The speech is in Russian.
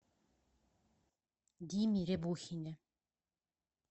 диме рябухине